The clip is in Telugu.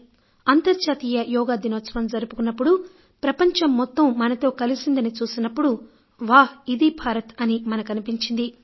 తాను అంతర్జాతీయ యోగా దినోత్సవం జరుపుకున్నప్పుడు ప్రపంచం మొత్తం మనతో కలిసిందని చూసినప్పుడు వా ఇదీ భారత్ అని మనకు అనిపించింది